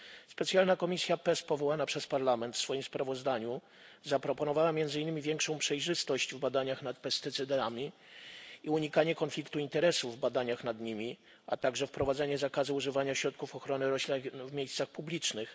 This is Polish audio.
Specjalna komisja PEST powołana przez Parlament w swoim sprawozdaniu zaproponowała między innymi większą przejrzystość w badaniach nad pestycydami i unikanie konfliktu interesów w badaniach nad nimi, a także wprowadzenie zakazu używania środków ochrony roślin w miejscach publicznych.